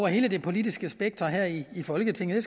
hele det politiske spektrum her i folketinget